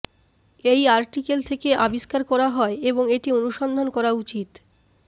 এই আর্টিকেল থেকে আবিষ্কার করা হয় এবং এটি অনুসন্ধান করা উচিত